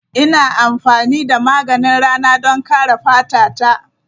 Ina amfani da maganin rana don kare fata ta.